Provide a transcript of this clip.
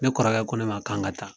Ne kɔrɔkɛ ko ne ma k'an ka taa